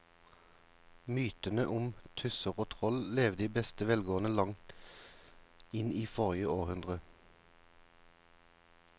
Mytene om tusser og troll levde i beste velgående til langt inn i forrige århundre.